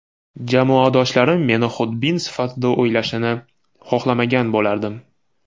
Jamoadoshlarim meni xudbin sifatida o‘ylashini xohlamagan bo‘lardim.